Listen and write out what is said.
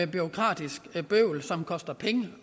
bureaukratiske bøvl som kostede penge